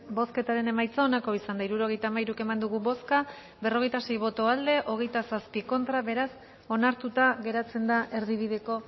bozketaren emaitza onako izan da hirurogeita hamairu eman dugu bozka berrogeita sei boto aldekoa veintisiete contra beraz onartuta geratzen da erdibideko